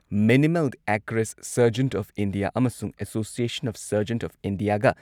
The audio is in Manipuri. minimal access surgeons of India ꯑꯃꯁꯨꯡ ꯑꯦꯁꯣꯁꯤꯌꯦꯁꯟ ꯑꯣꯐ ꯁꯔꯖꯟꯠ ꯑꯣꯐ ꯢꯟꯗꯤꯌꯥꯒ